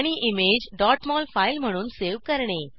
आणि image mol file म्हणून save करणे